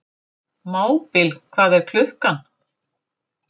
Mábil, hvað er klukkan?